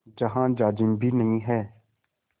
जहाँ जाजिम भी नहीं है